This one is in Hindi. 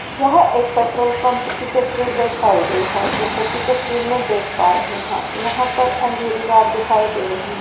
यह एक पेट्रोल पंप की तस्वीर दर्शायी गई हैं जैसे की तस्वीर में देख पा रहें हैं यहाँ पर अंधेरी रात दिखाई दे रहीं हैं।